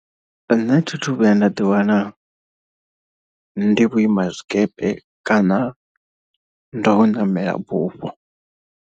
Nṋe thi thu vhuya nda ḓiwana ndi vhuima zwikepe kana ndo ṋamela bufho.